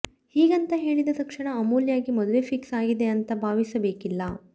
ಹೀಗಂತ ಹೇಳಿದ ತಕ್ಷಣ ಅಮೂಲ್ಯಗೆ ಮದುವೆ ಫಿಕ್ಸ್ ಆಗಿದೆ ಅಂತ ಭಾವಿಸಬೇಕಿಲ್ಲ